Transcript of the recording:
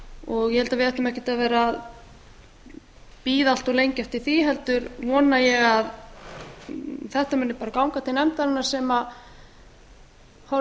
og ég held að við ættum ekkert að vera að bíða allt of lengi eftir því heldur vona ég að þetta muni bara ganga til nefndarinnar sem horfi á